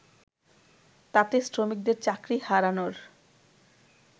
তাতে শ্রমিকদের চাকরি হারানোর